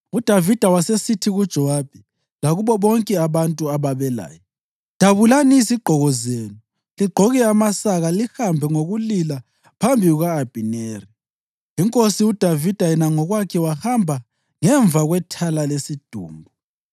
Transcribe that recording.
UDavida wasesithi kuJowabi lakubo bonke abantu ababelaye, “Dabulani izigqoko zenu ligqoke amasaka lihambe ngokulila phambi kuka-Abhineri.” Inkosi uDavida yena ngokwakhe wahamba ngemva kwethala lesidumbu.